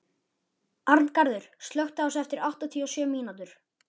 Arngarður, slökktu á þessu eftir áttatíu og sjö mínútur.